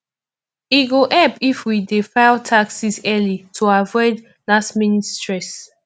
e go help if we dey file taxes early to avoid lastminute stress